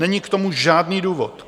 Není k tomu žádný důvod.